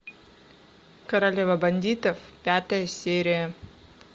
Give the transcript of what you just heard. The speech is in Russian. королева бандитов пятая серия